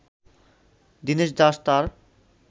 দিনেশ দাস তাঁর